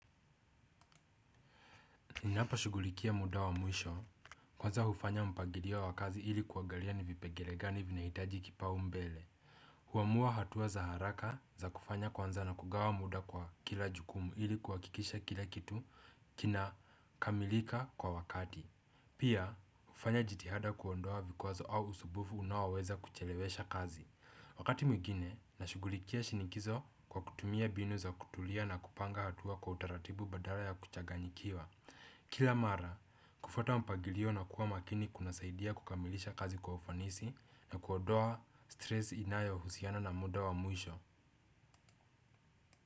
Ninaposhugulikia muda wa mwisho, kwanza hufanya mpagilio wa kazi ili kuagalia ni vipegele gani vinahitaji kipau mbele. Huamua hatua za haraka za kufanya kwanza na kugawa muda kwa kila jukumu ili kuwakikisha kila kitu kina kamilika kwa wakati. Pia, hufanya jitihada kuondoa vikwazo au usubufu unaoweza kuchelewesha kazi. Wakati mwigine, nashugulikia shinikizo kwa kutumia binu za kutulia na kupanga hatua kwa utaratibu badala ya kuchaganyikiwa. Kila mara, kufuata mpagilio na kuwa makini kunasaidia kukamilisha kazi kwa ufanisi na kuodoa stress inayo husiana na muda wa mwisho.